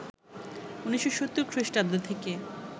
১৯৭০ খ্রিস্টাব্দ থেকে